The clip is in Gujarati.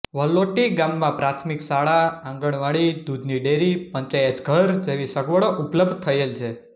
વલોટી ગામમાં પ્રાથમિક શાળા આંગણવાડી દુધની ડેરી પંચાયતઘર જેવી સગવડો ઉપલબ્ધ થયેલ છે